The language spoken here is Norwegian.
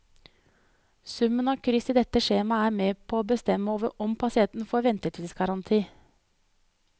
Summen av kryss i dette skjemaet er med på å bestemme om pasienten får ventetidsgaranti.